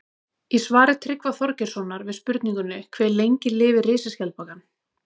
Í svari Tryggva Þorgeirssonar við spurningunni Hve lengi lifir risaskjaldbakan?